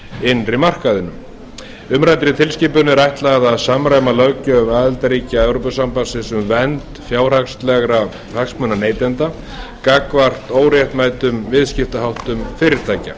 innri markaðnum umræddri tilskipun er ætlað að samræma löggjöf aðildarríkja e s b um vernd fjárhagslegra hagsmuna neytenda gagnvart óréttmætum viðskiptaháttum fyrirtækja